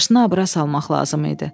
Maşını abra salmaq lazım idi.